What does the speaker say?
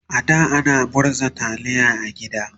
a da ana murza taliya a gida